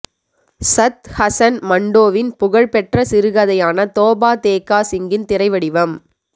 சத்த் ஹசன் மண்டோவின் புகழ்பெற்ற சிறுகதையான தோபா தேக்கா சிங்கின் திரைவடிவம்